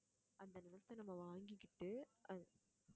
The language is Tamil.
அந்த நிலத்தை, நம்ம வாங்கிகிட்டு